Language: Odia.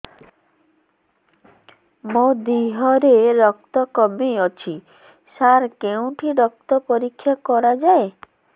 ମୋ ଦିହରେ ରକ୍ତ କମି ଅଛି ସାର କେଉଁଠି ରକ୍ତ ପରୀକ୍ଷା କରାଯାଏ